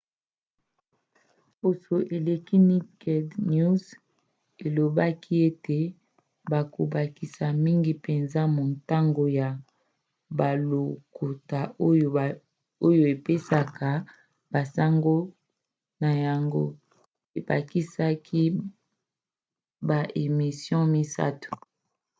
poso eleki naked news elobaki ete ekobakisa mingi mpenza motango ya balokota oyo epesaka basango na yango ebakisa baemission misato